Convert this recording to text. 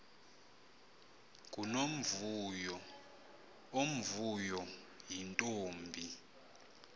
ngunomvuyo omvuyo yintombi